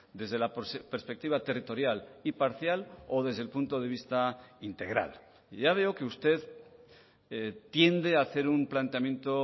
desde la perspectiva territorial y parcial o desde el punto de vista integral y ya veo que usted tiende a hacer un planteamiento